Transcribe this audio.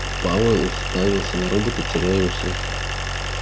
пауэлл уставился на робота теряя усы